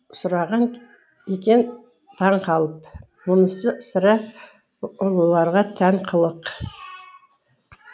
сұраған екен таңқалып мұнысы сірә ұлыларға тән қылық